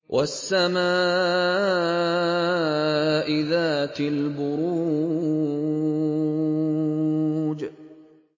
وَالسَّمَاءِ ذَاتِ الْبُرُوجِ